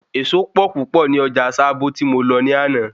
Ẹ̀ẹ̀so pọ̀ púpọ̀ ní Ọjà Sábó tí mo lọ ní àná